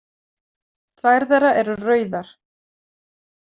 Tvær þeirra eru rauðar.